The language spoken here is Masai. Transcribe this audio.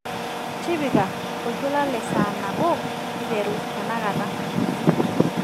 tipika oltuala le saa nabo iteru tenakata